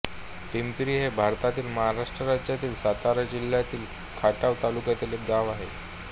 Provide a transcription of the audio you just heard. पिंपरी हे भारतातील महाराष्ट्र राज्यातील सातारा जिल्ह्यातील खटाव तालुक्यातील एक गाव आहे